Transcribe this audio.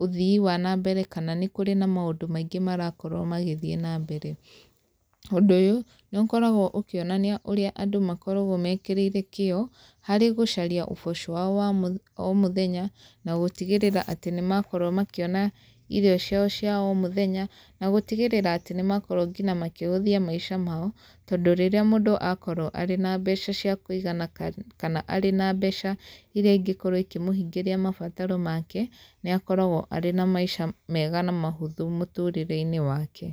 ũthii wa na mbere kana nĩ kũrĩ na maũndũ maingĩ marakorwo magĩthiĩ na mbere. Ũndũ ũyũ, nĩ ũkoragwo ũkĩonania ũrĩa andũ makoragwo mekĩrĩire kĩo, harĩ gũcaria ũboco wao wa o mũthenya, na gũtigĩrĩra atĩ nĩ makorwo makĩona irio ciao cia o mũthenya, na gũtigĩrĩra atĩ nĩ makorwo ngina makĩhũthia maica mao. Tondũ rĩrĩa mũndũ akorwo arĩ na mbeca cia kũigana kana arĩ na mbeca irĩa ingĩkorwo ikĩmũhingĩria mabataro make, nĩ akoragwo arĩ na maica mega na mahũthũ mũtũrĩre-inĩ wake.